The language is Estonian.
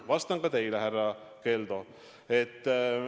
Vastan ka teile, härra Keldo.